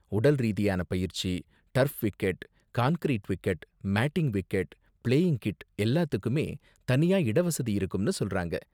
உடல் ரீதியான பயிற்சி, turf wicket, concrete wicket, matting wicket, playing kit எல்லாத்துக்குமே தனியா இடவசதி இருக்கும்னு சொல்றாங்க.